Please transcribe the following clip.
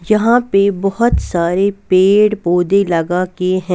यहां पे बहुत सारे पेड़-पौधे लगा के है.